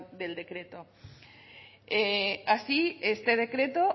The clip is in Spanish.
del decreto así este decreto